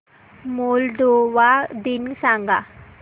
Moldova दिन सांगा